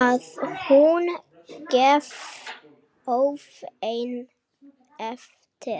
Að hún gefi óvænt eftir.